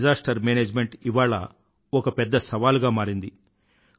disaster management ఇవాళ ఒక పెద్ద సవాలుగా మరింది